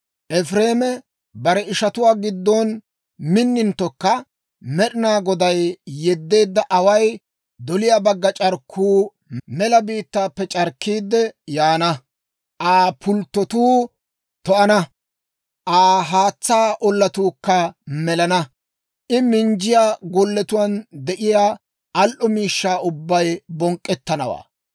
Efireeme bare ishatuwaa giddon minninttokka, Med'inaa Goday yeddeedda away doliyaa bagga c'arkkuu mela biittaappe c'arkkiidde yaana. Aa pulttotuu to"ana; Aa haatsaa ollatuukka melana. I minjjiyaa golletuwaan de'iyaa al"o miishshaa ubbay bonk'k'ettanawaa.